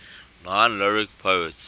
nine lyric poets